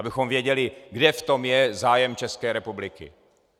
Abychom věděli, kde v tom je zájem České republiky.